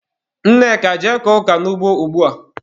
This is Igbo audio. Nneka, jee kọọ ọka n'ugbo ugbua!